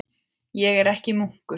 Ég er ekki munkur.